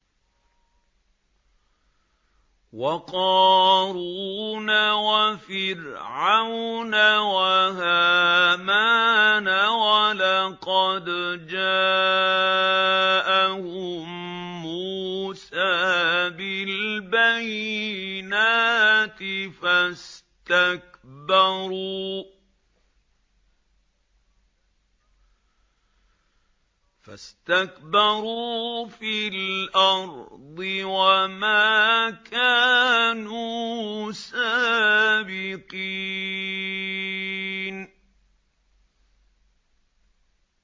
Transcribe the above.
وَقَارُونَ وَفِرْعَوْنَ وَهَامَانَ ۖ وَلَقَدْ جَاءَهُم مُّوسَىٰ بِالْبَيِّنَاتِ فَاسْتَكْبَرُوا فِي الْأَرْضِ وَمَا كَانُوا سَابِقِينَ